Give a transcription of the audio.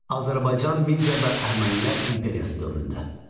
Azərbaycan, Media və Əhəmənilər İmperiyası dövründə.